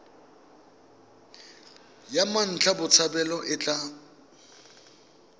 ya mmatla botshabelo e tla